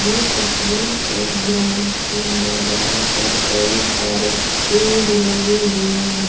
ये तस्वीर एक ग्राउंड की है जहा पर कई सारे पेड़ लगे हुए हैं --